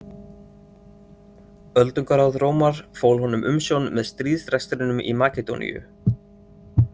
Öldungaráð Rómar fól honum umsjón með stríðsrekstrinum í Makedóníu.